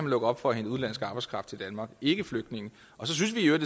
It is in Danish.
lukke op for at hente udenlandsk arbejdskraft til danmark ikke flygtninge og så synes vi i